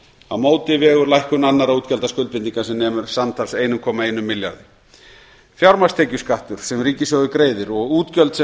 á móti vegur lækkun annarra útgjaldaskuldbindinga sem nemur samtals einum komma einum milljarði fjármagnstekjuskattur sem ríkissjóður greiðir og útgjöld sem